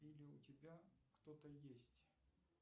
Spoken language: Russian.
или у тебя кто то есть